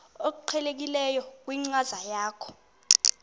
obuqhelekileyo kwinkcazo yakho